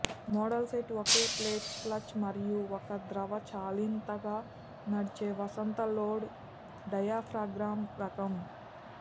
model set ఒకే plate clutch మరియు ఒక ద్రవచాలితంగా నడిచే వసంత లోడ్ డయాఫ్రాగమ్ రకం